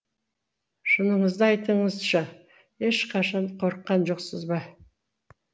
шыныңызды айтыңызшы ешқашанда қорыққан жоқсыз ба